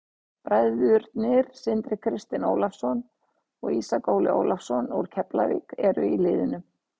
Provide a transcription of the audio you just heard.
Bræðurnir Sindri Kristinn Ólafsson og Ísak Óli Ólafsson úr Keflavík eru í liðinu.